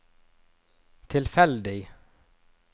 tilfeldig